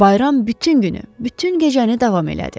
Bayram bütün günü, bütün gecəni davam elədi.